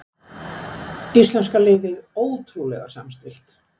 Íslenska liðið ótrúlega samstillt